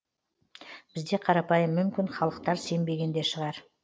бізде қарапайым мүмкін халықтар сенбеген де шығар